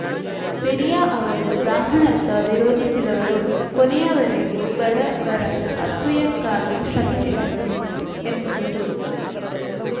ಪೆರಿಯಾರ್‌ ಅವರು ಬ್ರಾಹ್ಮಣತ್ವ ವಿರೋಧಿಸಿದವರು ಕೊನೆಯವರೆಗೂ ಬಡವರ ಅಭ್ಯುಯಕ್ಕಾಗಿ ಶ್ರಮಿಸಿದರು ಎಂದರು